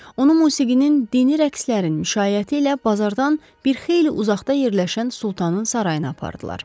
Onu musiqinin dini rəqslərin müşayiəti ilə bazardan bir xeyli uzaqda yerləşən Sultanın sarayına apardılar.